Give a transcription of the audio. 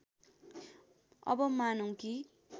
अब मानौँ कि